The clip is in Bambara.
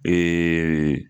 Ɛɛ